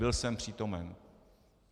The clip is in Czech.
Byl jsem přítomen.